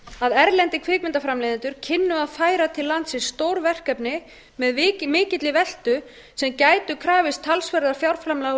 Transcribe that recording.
að erlendir kvikmyndaframleiðendur kynnu að færa til landsins stór verkefni með mikilli veltu sem gæti krafist talsverðra fjárframlaga